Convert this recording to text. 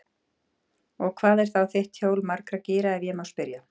Og hvað er þá þitt hjól margra gíra, ef ég má spyrja?